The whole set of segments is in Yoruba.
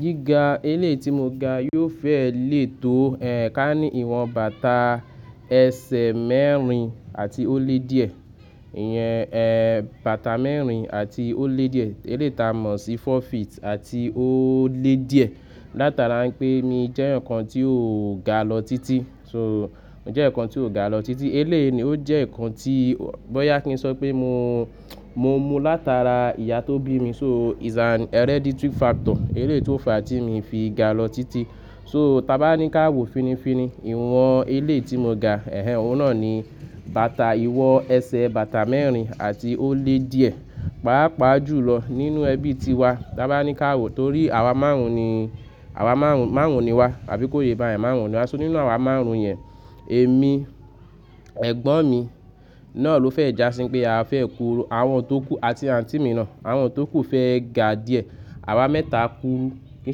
Gíga eléyi tí mo ga yóò fẹ́ lè tó, ká ní ìwọ̀n bàtà ẹsẹ̀ mẹ́rin àti ó lé díẹ̀. Ìyẹn, bàtà mẹ́rin àti ó lé díẹ̀. Eléyi t'a mo sí four feet àti ó lé díẹ̀. Látara wipé mi jẹ́ eeyan kan tí ó ga lọ títí. So mo jẹ́ eeyan kan tí ó ga lọ títí. Eléyi ni ó jẹ́ ǹnkan tí bọ́yá kí n sọ pé mo, mo mú látara ìyá tó bí mi. So it's an hereditary factor. Eléyi to fa tí mi n fi ga lọ títí. So ta bá ní ká wo finifini, ìwọ̀n eléyi tí mo ga, ẹ́hẹ́n òun náà ni bàtà ìwọ̀n ẹsẹ̀ bàtà mẹ́rin àti ó lé díẹ̀. Paapaa jù lọ nínú ẹbí ti wa, ta bá ní ká wo torí àwa márùn-ún ni, àwa márùn-ún, márùn-ún ni wá. Àbí kó yé bá yẹn márùn-ún ni wá. So nínú àwa márùn-ún yẹn, èmi, ẹ̀gbọ́n mi náà ló fẹ́ jásí wipé a fẹ́ kúru. Àwọn tó kú àti àǹtì mi náà. Àwọn tó kú fẹ́ ga díẹ̀. Àwa mẹ́ta kúru. Kìí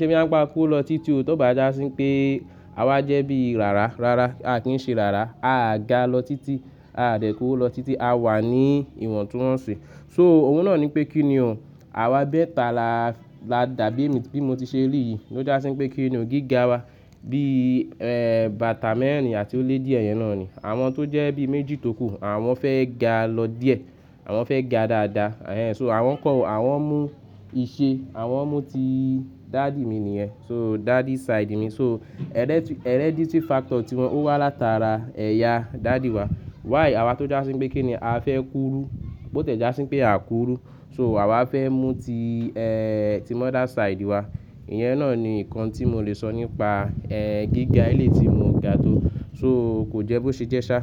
ṣe boyá n pa a kúru lọ títí o tó bá jásí wipé à wa jẹ́ bíi rára. Rárá, a kìí ṣe arára. A ga lọ títí, a dẹ̀ kú lọ títí. A wà ní ìwọ̀ntunwọ́nṣi. So òun náà nipé kí ni ò, àwa mẹ́ta la, la dàbí èmi tí mo ti ṣe ri yìí ló jásí pé kí ni ò gíga wa bí, bàtà mẹ́rin àti ó lé díẹ̀ yẹn náà ni. Àwọn tó jẹ́ bí méjì tó kú, àwọn fẹ́ ga lọ díẹ̀. Àwọn fẹ́ ga dáadáa. Ehẹ́n, so àwọn kọ́, àwọn mú iṣẹ́, àwọn mú ti daddy mi nìyẹn. So daddy side mi. So hereditary factor tí wọn ó wá látara ẹ̀yà daddy wa. Why àwa tó jásí wipé kí ni a fẹ́ kúrú. Bó tiẹ́ jásí wipé a k rú. So àwa fẹ́ mú ti, ẹ́ ti mother side wa. Ìyẹn náà ni ǹnkan tí mo lè sọ nípa, gíga eléyi tí mo ga tó. So kò jẹ́ bó ṣe jẹ́ ṣá.